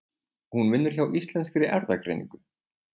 Hún vinnur hjá Íslenskri Erfðagreiningu.